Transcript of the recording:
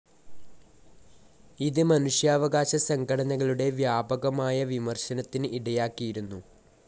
ഇത് മനുഷ്യാവകാശ സംഘടനകളുടെ വ്യാപകമായ വിമർശനത്തിന് ഇടയാക്കിയിരുന്നു.